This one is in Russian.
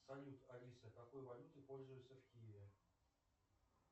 салют алиса какой валютой пользуются в киеве